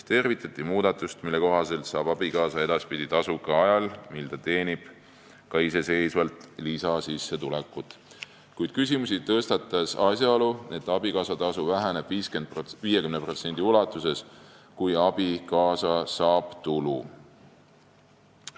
Tervitati muudatust, mille kohaselt saab abikaasa edaspidi tasu ka ajal, mil ta teenib iseseisvalt lisasissetulekut, kuid küsimusi tõstatas asjaolu, et abikaasatasu väheneb 50% ulatuses, kui abikaasa saab tulu.